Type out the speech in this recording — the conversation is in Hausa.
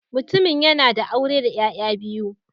Mutumin yana da aure da ’ya’ya biyu